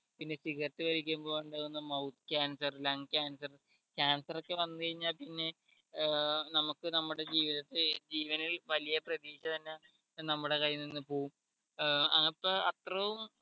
പിന്നെ സിഗരറ്റു വലിക്കുമ്പോൾ ഉണ്ടാകുന്ന mouth cancer lung cancer cancer ഒക്കെ വന്ന് കഴിഞ്ഞാൽ പിന്നെ ഏർ നമുക്ക് നമ്മുടെ ജീവിതത്തെ ജീവനിൽ വലിയ പ്രതീക്ഷ തന്നെ ഒരു നമ്മുടെ കയ്യിൽ നിന്ന് പോകും ഏർ അപ്പേ അത്രോം